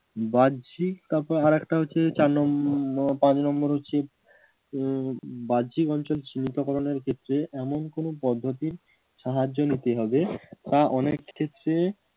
বাহ্যিক তারপরে আর একটা হচ্ছে চার নম্বর পাঁচ নম্বর হচ্ছে উম বাহ্যিক অঞ্চল চিহ্নিতকরণ ক্ষেত্রে এমন কোন পদ্ধতি সাহায্য নিতে হবে তা অনেক ক্ষেত্রে